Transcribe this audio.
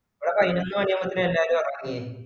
ഇവിട പായിനൊന്നുമണി അവമത്തേക്ക് എല്ലാരും ഒറങ്ങി